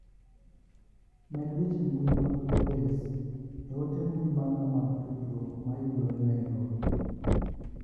Med weche mbui mag Lowes e ote mbui maga mag tudruok ma yudore Niarobi.